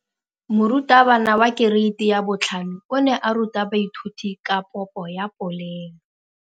Moratabana wa kereiti ya 5 o ne a ruta baithuti ka popô ya polelô.